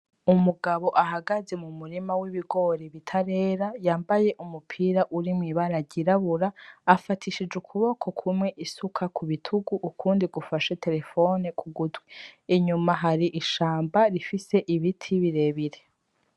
Umugabo ahagaze mu murima w'ibigori bitarera yambaye umupira urimwo ibara ryirabura , afatishije ukuboko kumwe isuka ku bitugu, ukundi gufashe terefone ku gutwi. Inyuma hari ishamba rifise ibiti birebire.